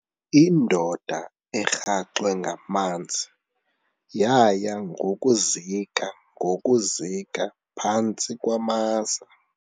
Indoda erhaxwe ngamanzi yaya ngokuzika ngokuzika phantsi kwamaza.